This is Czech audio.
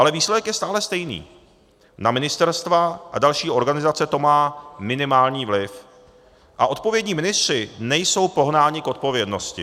Ale výsledek je stále stejný, na ministerstva a další organizace to má minimální vliv a odpovědní ministři nejsou pohnáni k odpovědnosti.